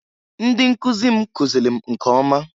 Ndị nkụzị m kụzịlị m nke ọma.